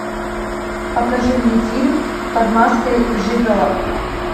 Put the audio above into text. покажи мне фильм под маской жигало